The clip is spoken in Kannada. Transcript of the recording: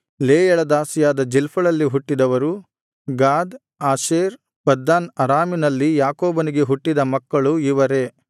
ಲೇಯಳ ದಾಸಿಯಾದ ಜಿಲ್ಪಳಲ್ಲಿ ಹುಟ್ಟಿದವರು ಗಾದ್ ಆಶೇರ್ ಪದ್ದನ್ ಅರಾಮಿನಲ್ಲಿ ಯಾಕೋಬನಿಗೆ ಹುಟ್ಟಿದ ಮಕ್ಕಳು ಇವರೇ